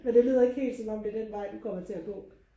men det lyder ikke helt som om at det er den vej du kommer til at gå